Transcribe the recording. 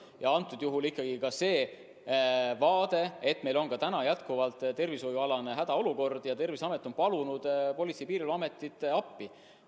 Ja antud juhul ikkagi on tõsiasi, et meil on endiselt tervishoiualane hädaolukord ja Terviseamet on palunud Politsei- ja Piirivalveametit appi.